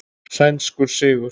Sænskur sigur.